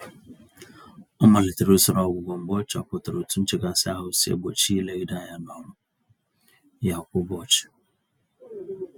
Ọ malitere usoro ọgwụgwọ mgbe ọ chọpụtara otu nchekasị-ahụ si egbochi ya ilegide ányá n'ọrụ ya kwa ụbọchị.